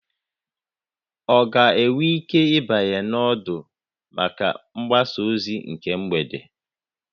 Ọ ga-enwe ike ịbanye na ọdụ maka mgbasa ozi na mgbede a?